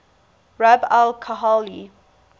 rub al khali